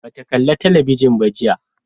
Ba ta kala talabijin ba jiya